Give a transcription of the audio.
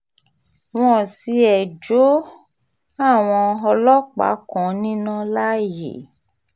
wọ́n tiẹ̀ jó àwọn ọlọ́pàá kan níná láàyè